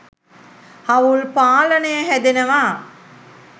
හවුල් පාලනය හැදෙනවා.